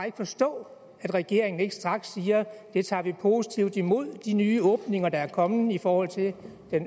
ikke forstå at regeringen ikke straks siger vi tager positivt imod de nye åbninger der er kommet i forhold til